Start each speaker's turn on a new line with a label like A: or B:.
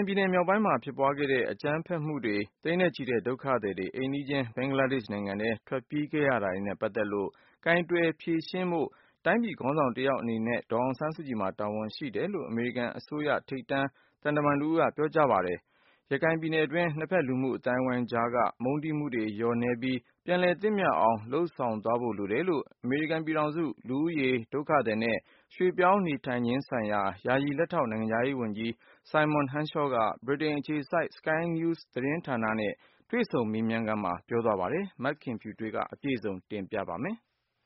A: င်ပြည်နယ်မြောက်ပိုင်းမှာ ဖြစ်ပွားခဲ့တဲ့ အကြမ်းဖက်မှုတွေ၊ ဒုက္ခသည်တွေ သိန်းနဲ့ချီ အိမ်နီးချင်း ဘင်္ဂလားဒေ့ရှ် နိုင်ငံထဲ ထွက်ပြေးခဲ့ရတာတွေနဲ့ ပတ်သက်လို့ ကိုင်တွယ်ဖြေရှင်းဖို့ တိုင်းပြည်ခေါင်းဆောင်တယောက်အနေနဲ့ ဒေါ်အောင်ဆန်းစုကြည်မှာ တာဝန်ရှိတယ်လို့ အမေရိကန်အစိုးရ ထိပ်တန်း သံတမန်တဦးက ပြောဆိုလိုက်ပါတယ်။ ပဋိပက္ခတွေဖြစ်ခဲ့တဲ့ ရခိုင်ပြည်နယ်တွင်းမှာ နှစ်ဘက် လူမှုအသိုင်းအဝိုင်းကြားက မုန်းတီးမှုတွေ လျော့နည်းပြီး ပြန်လည်သင့်မြတ်အောင် လုပ်ဆောင်သွားရမှာဖြစ်တယ်လို့လည်း အမေရိကန် ပြည်ထောင်စု၊ လူဦးရေ၊ ဒုက္ခသည်နဲ့ ရွှေ့ပြောင်းနေထိုင်ခြင်းဆိုင်ရာ ယာယီလက်ထောက် နိုင်ငံခြားရေးဝန်ကြီး Simon Henshaw က Britain အခြေစိုက် Sky News သတင်းဌာနနဲ့ တွေ့ဆုံမေးမြန်းချိန်မှာ ပြောသွားတာပါ။ မခင်ဖြူထွေးက အပြည့်စုံ တင်ပြပေးပါမယ်
B: ။